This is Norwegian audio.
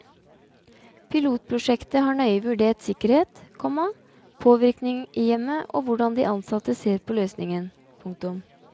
Pilotprosjektet har nøye vurdert sikkerhet, komma påvirkning i hjemmet og hvordan de ansatte ser på løsningen. punktum